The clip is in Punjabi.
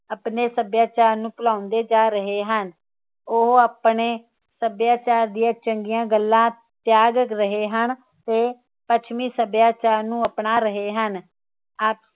ਆਪਣੇ ਸੱਭਿਆਚਾਰ ਨੂੰ ਭੁਲਾਉਂਦੇ ਜਾ ਰਹੇ ਹਨ ਉਹ ਆਪਣੇ ਸੱਭਿਆਚਾਰ ਦੀਆ ਚੰਗੀਆਂ ਗੱਲਾਂ ਤਿਆਗ ਰਹੇ ਹਨ ਤੇ ਪੱਛਮੀ ਸੱਭਿਆਚਾਰ ਨੂੰ ਅਪਣਾ ਰਹੇ ਹਨ ਆਪ